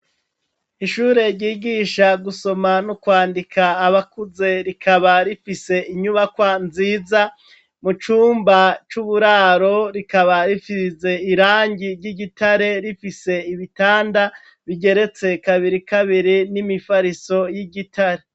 Ishure ryigisha gusoma nokwandika abakuze rikaba rifise inyubakwa nziza mucumba cuburaro kikaba gifise irangi ryigitare rifise ibitanda kigeretse kabiri kabiri nimifariso yigitare.